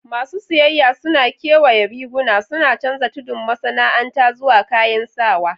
Masu siyayya suna kewaya riguna, suna canza tudun masana'anta zuwa kayan sawa.